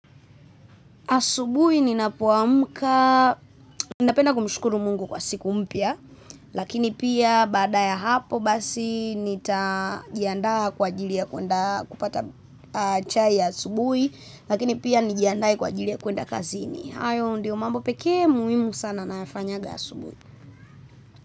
Asubuhi ninapoamka, napenda kumshukuru Mungu kwa siku mpya, lakini pia baada ya hapo basi nitajiandaa kwa ajili ya kuenda kupata chai ya asubuhi, lakini pia nijiandae kwa ajili ya kuenda kazini. Hayo ndio mambo peke muhimu sana nayafanyanga asubuhi.